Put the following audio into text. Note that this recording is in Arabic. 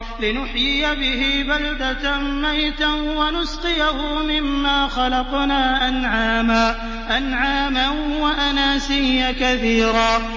لِّنُحْيِيَ بِهِ بَلْدَةً مَّيْتًا وَنُسْقِيَهُ مِمَّا خَلَقْنَا أَنْعَامًا وَأَنَاسِيَّ كَثِيرًا